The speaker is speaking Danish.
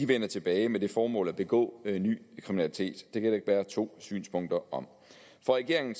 vender tilbage med det formål at begå ny kriminalitet det kan der ikke være to synspunkter om for regeringen